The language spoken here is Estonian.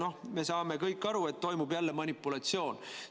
Noh, me saame kõik aru, et toimub jälle manipulatsioon.